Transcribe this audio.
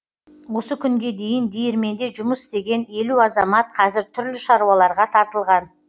осы күнге дейін диірменде жұмыс істеген елу азамат қазір түрлі шаруаларға тартылған